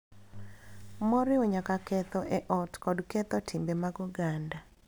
Moriwo nyaka ketho e ot kod ketho timbe mag oganda